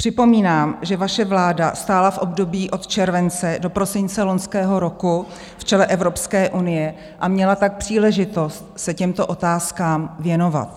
Připomínám, že vaše vláda stála v období od července do prosince loňského roku v čele Evropské unie, a měla tak příležitost se těmto otázkám věnovat.